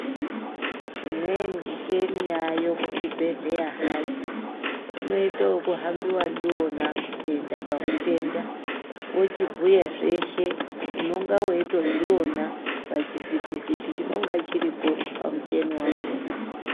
Imweni micheni yaayo kuzvibhedhlera hai unoite wekuhambiwe ndiwona kuenda pamutenda wochibhuya zveshe unonga weitodziona pachivhiti vhiti chinenge chiripo pamucheni wakona.